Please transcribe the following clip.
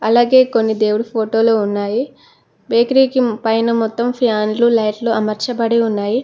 అలాగే కొన్ని దేవుడు ఫోటోలో ఉన్నాయి బేకరీ కి పైన మొత్తం ఫ్యాన్లు లైట్లు అమర్చబడి ఉన్నాయి.